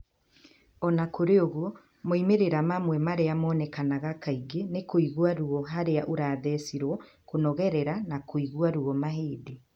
O na kũrĩ ũguo, moimĩrĩra amwe arĩa monekaga kaingĩ nĩ kũigua ruo harĩa urathecirwo, kũnogerera na kũigua ruo mahĩndĩ.